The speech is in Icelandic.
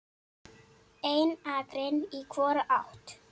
Ein akrein í hvora átt.